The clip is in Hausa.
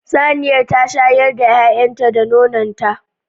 Saniyar ta shayar da 'ya'yanta da nonon ta